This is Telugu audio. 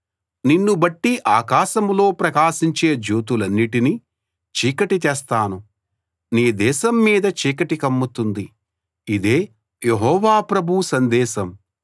నిన్నుబట్టి ఆకాశంలో ప్రకాశించే జ్యోతులన్నిటినీ చీకటి చేస్తాను నీ దేశం మీద చీకటి కమ్ముతుంది ఇదే యెహోవా ప్రభువు సందేశం